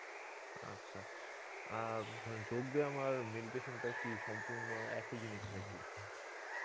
আচ্ছা আ ধরেন যোগ ব্যায়াম আর meditation টা কি সম্পুর্ন্ন একই জিনিস না কী?